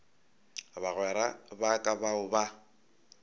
bagwera ba ka bao ba